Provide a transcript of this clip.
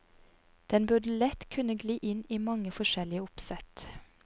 Den burde lett kunne gli inn i mange forskjellige oppsett.